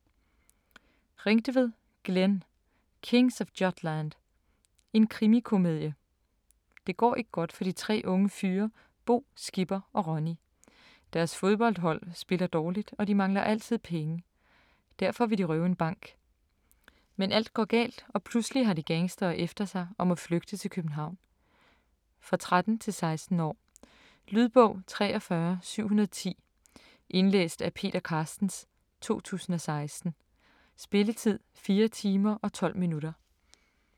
Ringtved, Glenn: Kings of Jutland: en krimikomedie Det går ikke godt for de tre unge fyre Bo, Skipper og Ronny. Deres fodboldhold spiller dårligt, og de mangler altid penge. Derfor vil de røve en bank. Men alt går galt og pludselig har de gangstere efter sig og må flygte til København. For 13-16 år. Lydbog 43710 Indlæst af Peter Carstens, 2016. Spilletid: 4 timer, 12 minutter.